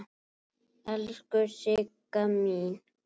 Elsku Sigga mín.